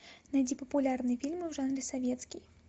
найди популярные фильмы в жанре советский